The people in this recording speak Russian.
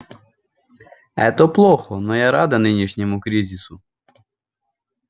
это плохо но я рада нынешнему кризису